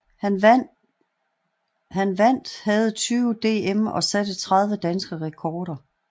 Han vandt havde 20 DM og satte 30 danske rekorder